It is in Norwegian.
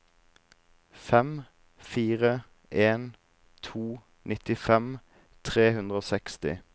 fem fire en to nittifem tre hundre og seksti